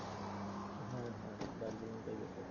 হ্যাঁ হ্যাঁ দার্জিলিংটাই better.